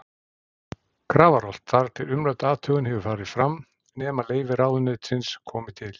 Grafarholt, þar til umrædd athugun hefur farið fram, nema leyfi ráðuneytisins komi til.